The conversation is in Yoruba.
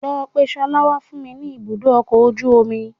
Lọ pe ṣọlá wá fún mi ní ibùdó ọkọ̀ ojú omi